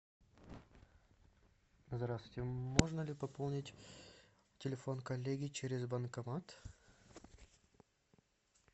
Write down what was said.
здравствуйте можно ли пополнить телефон коллеги через банкомат